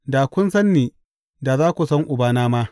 Da kun san ni, da za ku san Ubana ma.